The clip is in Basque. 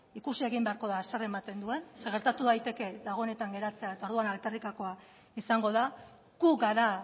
ikusi egin beharko da zer ematen duen zeren eta gertatu daiteke dagoenetan geratzea eta orduan alferrikakoa izango da gu gara